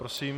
Prosím.